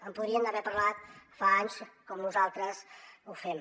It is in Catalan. en podrien haver parlat fa anys com nosaltres ho fem